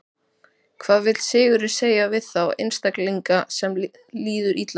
Hvað vill Sigurður segja við þá einstaklinga sem líður illa?